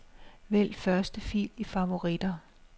Vælg første fil i favoritter.